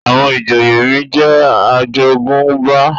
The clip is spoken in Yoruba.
àwọn ìjòyè mí jẹ ajogunba